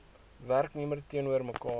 werknemer teenoor mekaar